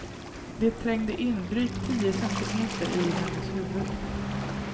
Det trängde in drygt tio centimeter i hennes huvud.